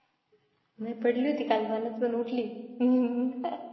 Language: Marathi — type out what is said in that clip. नाही पडली होती काल पाण्यात पण उठली.